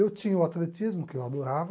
Eu tinha o atletismo, que eu adorava.